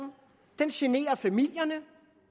den generer familierne